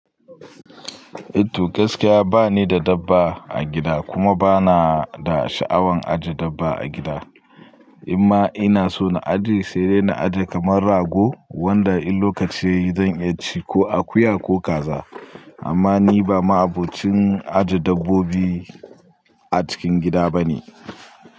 Eh to gaskiya ba ni da dabba a gida kuma ba na da sha'awan ajiye dabba a gida. Imma ina so na ajiye, sai dai na ajiye kamar rago wanda in lokaci yayi zan iya ci ko akuya ko kaza. Amma ni ba ma'abocin ajiye dabbobi a cikin gida bane.